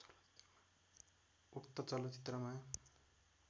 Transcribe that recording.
उक्त चलचित्रमा